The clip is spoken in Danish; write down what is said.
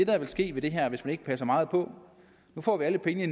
der vil ske med det her hvis man ikke passer meget på nu får vi alle pengene